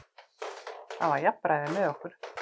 Það var jafnræði með okkur.